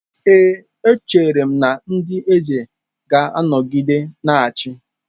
Ee, echere m na ndị eze ga-anọgide na-achị.